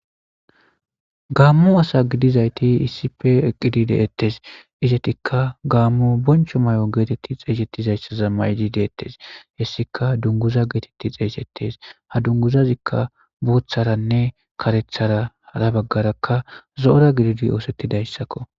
gaammo asa gidizayti iisife eqqidi deettes izetikka gaammu boncho may7o geetetti xeeysettizayssa zammaydi deettes hessika dunguza geetetti xeesettes ha dunguzazikka boutharanne karetharara baggarakka zo7ora gididi oosettidayssakko